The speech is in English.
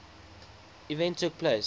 event took place